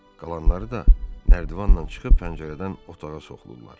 Qalanları da nərdivanla çıxıb pəncərədən otağa soxulurlar.